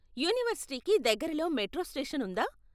యూనివర్సిటీకి దగ్గరలో metro station ఉందా?